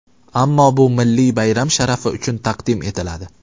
Ammo bu milliy bayram sharafi uchun taqdim etiladi.